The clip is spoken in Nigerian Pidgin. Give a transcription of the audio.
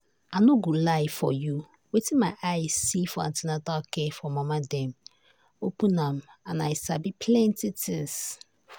i no go lie for you wetin my eye see for an ten atal care for mama dem open am and i sabi plenty thing.